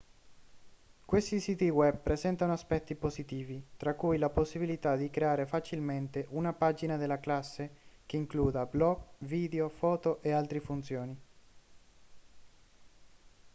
questi siti web presentano aspetti positivi tra cui la possibilità di creare facilmente una pagina della classe che includa blog video foto e altre funzioni